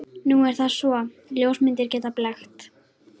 Nú er það svo, að ljósmyndir geta blekkt.